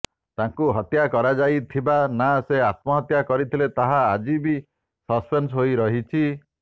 ତାଙ୍କୁ ହତ୍ୟା କରାଯାଇଥିବା ନା ସେ ଆତ୍ମହତ୍ୟା କରିଥିଲେ ତାହା ଆଜି ବି ସସ୍ପେନ୍ସ ହୋଇ ରହିଛି